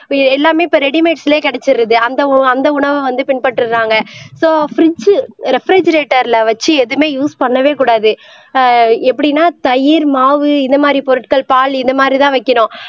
இப்ப எல்லாமே இப்ப ரெடிமேட்ஸ்லயே கிடைச்சிருது அந்த உ அந்த உணவை வந்து பின்பற்றுறாங்க சோ பிரிட்ஜ் வச்சு எதுவுமே யூஸ் பண்ணவே கூடாது ஆஹ் எப்படின்னா தயிர் மாவு இந்த மாதிரி பொருட்கள் பால் இந்த மாதிரிதான் வைக்கணும்